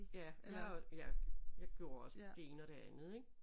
Ja jeg har jeg gjorde også det ene og det andet ik